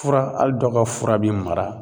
Fura hali dɔ ka fura be mara